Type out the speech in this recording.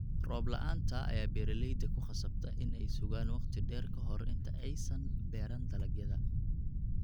Roob la'aanta ayaa beeraleyda ku qasabta in ay sugaan waqti dheer ka hor inta aysan beeran dalagyada.